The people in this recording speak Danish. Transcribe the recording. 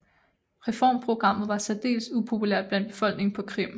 Reformprogrammet var særdels upopulært blandt befolkningen på Krim